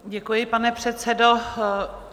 Děkuji, pane předsedo.